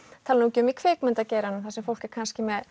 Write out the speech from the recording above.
tali nú ekki um í kvikmyndageiranum þar sem fólk er kannski með